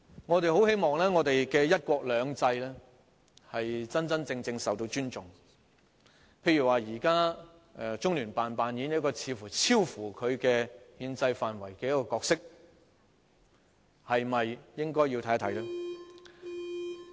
我十分希望"一國兩制"能夠真正受到尊重，舉例而言，現時中聯辦似乎正在扮演一個超乎其憲制範圍的角色，我們是否應該研究一下呢？